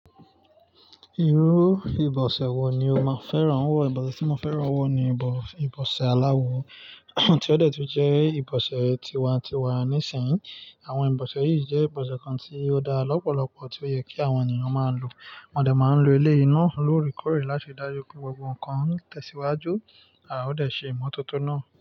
Irú ìbọ̀sẹ̀ wo ni o máa fẹ́ràn wọ̀? Ìbọ̀sẹ̀ tí mo fẹ́ràn wọ̀ ni ìbọ̀sẹ̀ aláwọ, tí ó dẹ̀ tún jẹ́ ìbọ̀sẹ̀ tiwa-n-tiwa nísìnyí. Àwọn ìbọ̀sẹ̀ yìí jẹ́ ìbọ̀sẹ̀ kan tí ó dáa lọ́pọ̀lọpọ̀, tí ó yẹ kí àwọn ènìyàn máa lò. Mo máa ń lo eléyìí náà lóòrèkóòrè láti dájú pé gbogbo nǹkan tẹ̀síwájú, à ó dẹ̀ ṣe ìmọ́tótó náà.